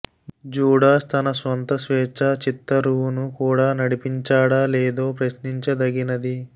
Judas తన స్వంత స్వేచ్ఛా చిత్తరువును కూడా నడిపించాడా లేదో ప్రశ్నించదగినది